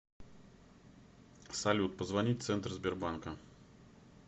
салют позвонить центр сбербанка